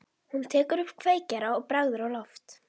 Hún dregur upp kveikjara og bregður á loft.